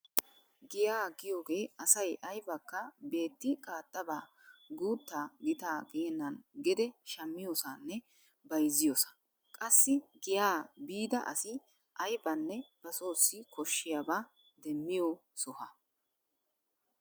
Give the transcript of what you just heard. Giya giyogee asay aybakka beetti qaaxxabaa guuttaa gitaa geennan gede shmmiyosanne bayzziyosa. Qassi giya biida asi aybanne basoossi koshshiyaba demmiyo soha.